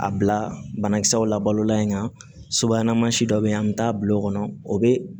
A bila banakisɛw la balola in kan suma mansi dɔ bɛ yen an bɛ taa bulon kɔnɔ o bɛ